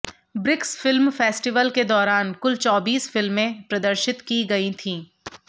BRICS film festival के दौरान कुल चौबीस फिल्में प्रदर्शित की गई थीं